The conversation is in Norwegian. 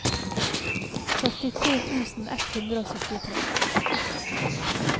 førtitre tusen ett hundre og syttitre